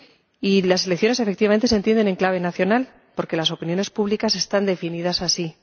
Y las elecciones, efectivamente, se entienden en clave nacional, porque las opiniones públicas están definidas así.